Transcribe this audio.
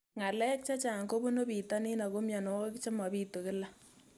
Ng'alek chechang' kopunu pitonin ako mianwogik che mapitu kila